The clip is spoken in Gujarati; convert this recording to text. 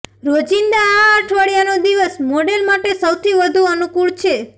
રોજિંદા આ અઠવાડિયાનો દિવસ મોડેલ માટે સૌથી વધુ અનુકૂળ છે